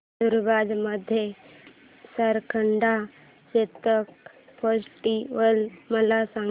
नंदुरबार मधील सारंगखेडा चेतक फेस्टीवल मला सांग